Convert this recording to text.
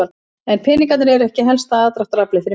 En peningarnir eru ekki helsta aðdráttaraflið fyrir mig.